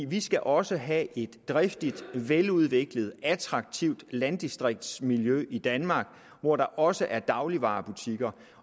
vi skal også have et driftigt veludviklet og attraktivt landdistriktsmiljø i danmark hvor der også er dagligvarebutikker